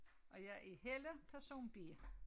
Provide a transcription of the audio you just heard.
Og jeg er Helle person B